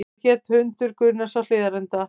Hvað hét hundur Gunnars á Hlíðarenda?